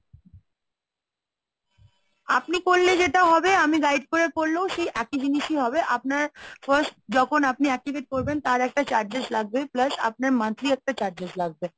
আপনি করলে যেটা হবে আমি guide করে করলেও সেই একই জিনিসই হবে, আপনার first যখন আপনি activate করবেন তার একটা charges লাগবে প্লাস আপনার monthly একটা charges লাগবে।